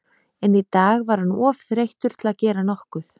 En í dag var hann of þreyttur til að gera nokkuð.